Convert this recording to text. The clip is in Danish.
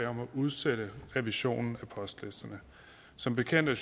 om at udsætte revisionen af postlisterne som bekendt er